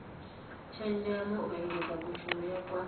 tshenzhemo u engedza kushumele kwa